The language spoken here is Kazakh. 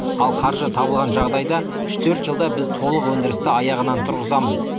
ал қаржы табылған жағдайда үш төрт жылда біз толық өндірісті аяғынан тұрғызамыз